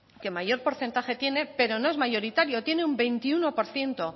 que mayor porcentaje tiene pero no es mayoritario tiene un veintiuno por ciento